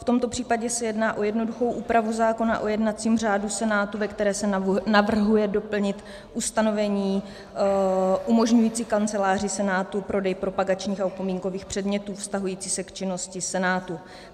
V tomto případě se jedná o jednoduchou úpravu zákona o jednacím řádu Senátu, ve které se navrhuje doplnit ustanovení umožňující Kanceláři Senátu prodej propagačních a upomínkových předmětů vztahujících se k činnosti Senátu.